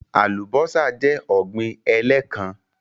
Alubọ́sá jẹ́ ọ̀gbín ẹ̀lẹ́kán